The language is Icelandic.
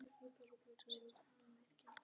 Þar munt þú sjá steina tvo, auðkennilega.